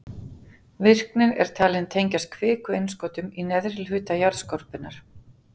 Virknin er talin tengjast kvikuinnskotum í neðri hluta jarðskorpunnar.